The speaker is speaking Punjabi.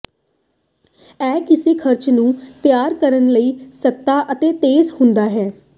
ਇਹ ਕਿਸੇ ਖਰਚ ਨੂੰ ਤਿਆਰ ਕਰਨ ਲਈ ਸਸਤਾ ਅਤੇ ਤੇਜ਼ ਹੁੰਦਾ ਹੈ